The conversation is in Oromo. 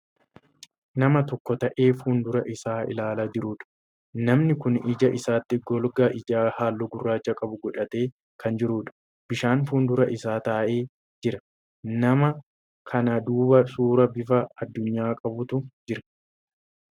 Nama tokko taa'ee fuuldura Isaa ilaalaa jiruudha namni Kuni ija isaatti golgaa ijaa halluu gurraacha qabu godhatee Kan jiruudha. bishaan fuuldura Isaa taa'ee jira. nama kana duuba suuraa bifa addunyaa qabutu Jira.